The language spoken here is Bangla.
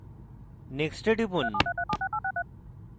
next এ টিপুন